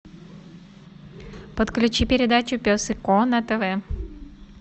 подключи передачу пес и ко на тв